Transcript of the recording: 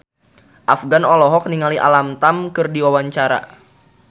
Afgan olohok ningali Alam Tam keur diwawancara